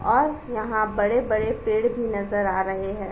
और यहाँ बड़े-बड़े पेड़ भी नजर आ रहे हैं।